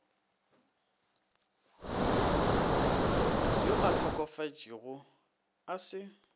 yo a hlokofetšego a se